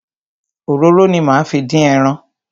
Òróró ni máa fi dín ẹran.